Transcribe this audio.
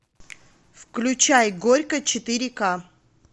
включай горько четыре ка